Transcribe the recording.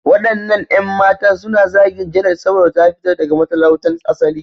Waɗannan 'yan matan suna zagin Janet saboda ta fito daga matalautan asali.